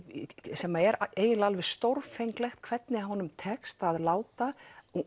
sem er eiginlega stórfenglegt hvernig honum tekst að láta